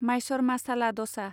माइसर मासाला दसा